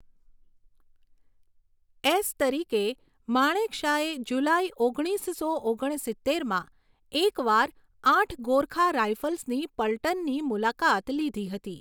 S તરીકે, માણેકશાએ જુલાઈ ઓગણીસસો ઓગણસિત્તેરમાં એક વાર આઠ ગોરખા રાઇફલ્સની પલટનની મુલાકાત લીધી હતી.